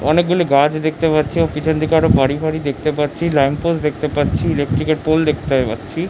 অনেকগুলি গাছ দেখতে পারছি পিছনে দিকে আরো বাড়ি ফাড়ি দেখতে পারছি ল্যাম্প পোস্ট দেখতে পারছি। ইলেকট্রিক এর পোল দেখতে পারছি--